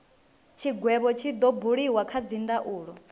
tshigwevho tshi do buliwa kha dzindaulo